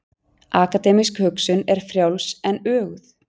Akademísk hugsun er frjáls en öguð.